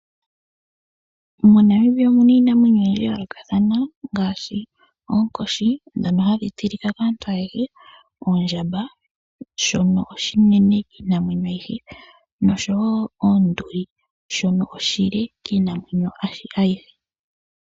MoNamibia omu na iinamwenyo oyindji ya yoolokathana ngaashi oonkoshi ndhono hadhi tilika kaantu ayehe, oondjamba ndhono oonene kiinamwenyo ayihe oshowo oonduli ndhono oonde kiinamwenyo ayihe.